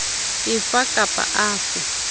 a fe kap a fe